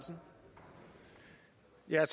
jeg